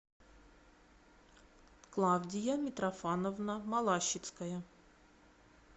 клавдия митрофановна малащицкая